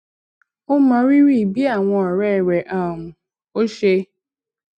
ó mọrírì bí awon òré rè um ò ṣe